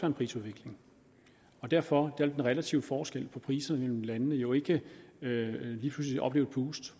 en prisudvikling derfor vil den relative forskel på priserne mellem landene jo ikke lige pludselig opleve et boost